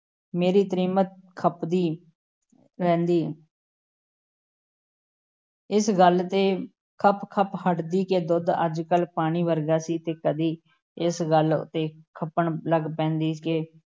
ਮੇਰੀ ਤ੍ਰੀਮਤ ਖਪਦੀ ਰਹਿੰਦੀ । ਇਸ ਗੱਲ ਤੇ ਖੱਪ-ਖੱਪ ਹਟਦੀ ਕਿ ਦੁੱਧ ਅੱਜ-ਕੱਲ੍ਹ ਪਾਣੀ ਵਰਗਾ ਸੀ ਤੇ ਕਦੀ ਇਸ ਗੱਲ ਤੇ ਖਪਣ ਲੱਗ ਪੈਂਦੀ ਕਿ